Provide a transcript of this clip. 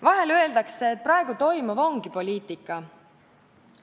Vahel öeldakse, et praegu toimuv ongi poliitika.